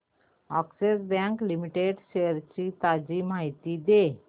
Axis bank limited shares ची ताजी माहिती दे